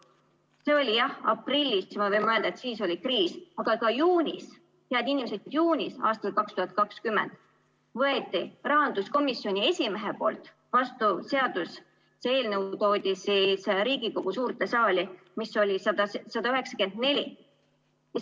See oli, jah, aprillis, siis võime mõelda, et siis oli kriis, aga ka juunis, head inimesed, juunis aastal 2020 võeti rahanduskomisjoni esimehe poolt vastu seadus ja see eelnõu, 194 SE toodi siis Riigikogu suurde saali.